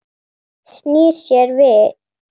Snýr sér við.